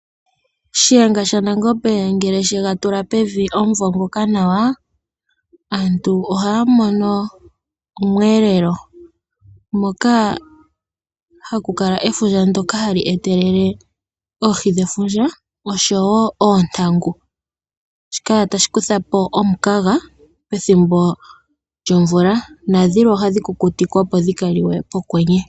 Shiyenga shaNangombe ngele she ga tula pevi omuvo ngoka nawa, aantu ohaya mono omweelelo moka haku kala efundja ndyoka hali etelele oohi dhefundja osho wo oontangu. Shika tashi kutha po omukaga pethimbo lyomvula nadhilwe ohadhi kukutikwa, opo dhi ka liwe pokwenye.